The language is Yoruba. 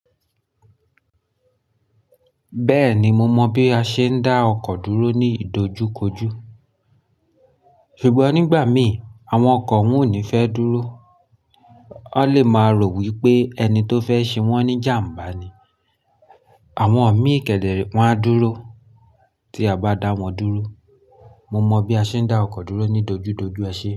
Bẹ́ẹ̀ni mo mọ bí a ṣe ń dá ọkọ̀ dúró ní ìdojúkojú. Ṣùgbọ́n nígbà mí, àwọn ọkọ̀ wọ́n ò ní fẹ́ dúró. Won lè máa rò wí pé ẹni tó fẹ́ ṣe wọ́n ní jàm̀bá ni. Àwọn ọ̀mí ìkéde wọn á dúró tí a bá dá wọn dúró. Mo mọ bí a ṣe ń dá ọkọ̀ dúró ní dojúdojú, ẹ ṣe é.